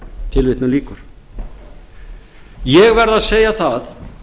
tilvitnun lýkur ég verð að segja það